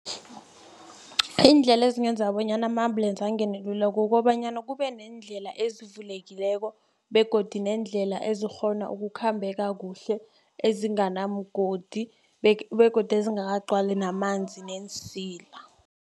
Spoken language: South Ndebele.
Iindlela ezingenza bonyana ama-ambulance angene lula kukobanyana kube neendlela ezivulekileko begodu neendlela ezikghona ukukhambeka kuhle ezinganamgodi begodu ezingakagcalwi namanzi neensila.